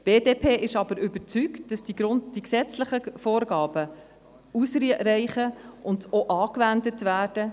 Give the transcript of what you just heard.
Die BDP ist aber überzeugt, dass die gesetzlichen Vorgaben ausreichen und auch angewendet werden.